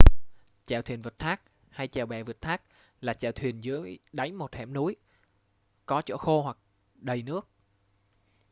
chèo thuyền vượt thác hay: chèo bè vượt thác là chèo thuyền dưới đáy một hẻm núi có chỗ khô hoặc đầy nước